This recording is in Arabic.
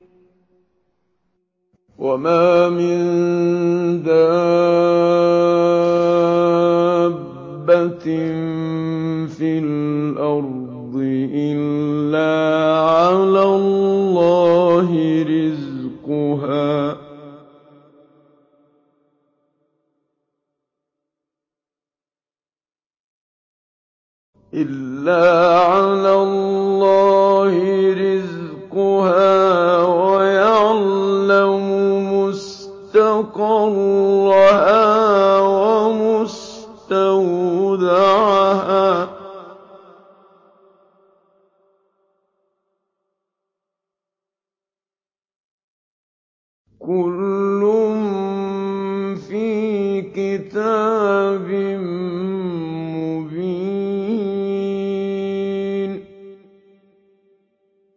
۞ وَمَا مِن دَابَّةٍ فِي الْأَرْضِ إِلَّا عَلَى اللَّهِ رِزْقُهَا وَيَعْلَمُ مُسْتَقَرَّهَا وَمُسْتَوْدَعَهَا ۚ كُلٌّ فِي كِتَابٍ مُّبِينٍ